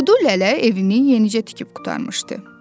Kudu Lələ evini yenicə tikib qurtarmışdı.